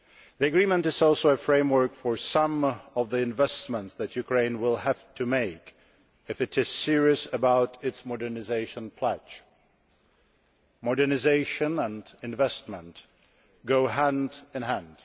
The Agreement is also a framework for some of the investments that Ukraine will have to make if it is serious about its modernisation pledge. Modernisation and investment go hand in hand.